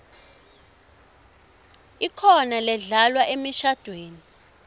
ikhona ledlalwa emishadvweni